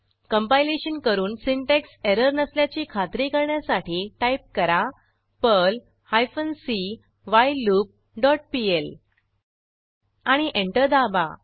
compilation करुन syntax error नसल्याची खात्री करण्यासाठी टाईप करा Perl hyphen C while loop dot P L आणि एंटर दाबा